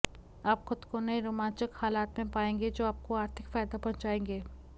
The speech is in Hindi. आप ख़ुद को नए रोमांचक हालात में पाएंगे जो आपको आर्थिक फ़ायदा पहुँचाएंगे